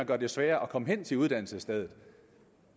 gør det sværere at komme hen til uddannelsesstedet